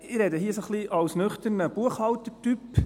Ich spreche hier ein bisschen als nüchterner Buchhalter-Typ.